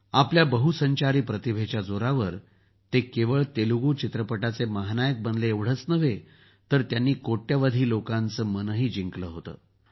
आपल्या बहुसंचारी प्रतिभेच्या जोरावर त्यांनी केवळ तेलगु चित्रपटाचे महानायक बनले एवढेच नव्हे तर त्यांनी कोट्यवधी लोकांचं मनही जिंकलं होतं